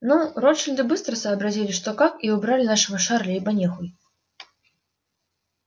ну ротшильды быстро сообразили что как и убрали нашего шарля ибо не хуй